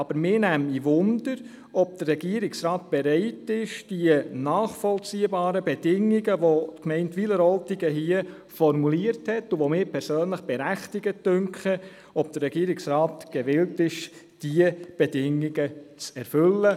Aber ich möchte wissen, ob der Regierungsrat bereit ist, die nachvollziehbaren Bedingungen, welche die Gemeinde Wileroltigen hier formuliert hat und welche ich persönlich für berechtigt erachte, zu erfüllen.